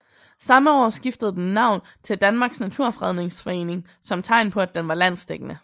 Samme år skiftede den navn til Danmarks Naturfredningsforening som tegn på at den var landsdækkende